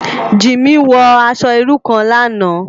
Jimi wò aṣò irú kán làná